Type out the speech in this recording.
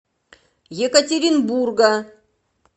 екатеринбурга